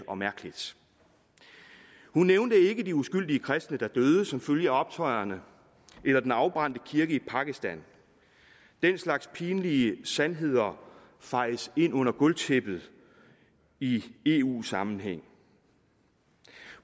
og mærkeligt hun nævnte ikke de uskyldige kristne der døde som følge af optøjerne eller den afbrændte kirke i pakistan den slags pinlige sandheder fejes ind under gulvtæppet i eu sammenhæng